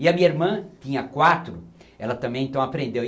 E a minha irmã tinha quatro, ela também então aprendeu